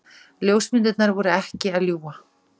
Ljósmyndirnar voru ekki að ljúga.